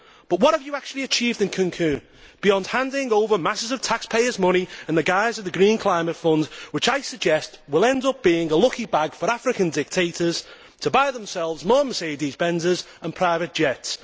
But what have you actually achieved in Cancún beyond handing over masses of taxpayers' money in the guise of the Green Climate Fund, which I suggest will end up being a lucky bag for African dictators to buy themselves more Mercedes Benzes and private jets?